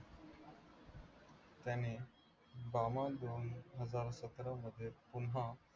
त्याने दोन हजार सतरामध्ये पुन्हा